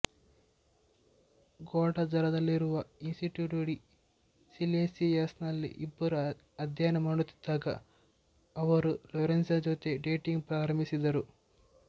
ಗ್ವಾಡಲಜರದಲ್ಲಿರುವ Instituto de ಸಿಯೆನ್ಸಿಯಾಸ್ನಲ್ಲಿ ಇಬ್ಬರು ಅಧ್ಯಯನ ಮಾಡುತ್ತಿದ್ದಾಗ ಅವರು ಲೋರೆನ್ಜಾ ಜೊತೆ ಡೇಟಿಂಗ್ ಪ್ರಾರಂಭಿಸಿದರು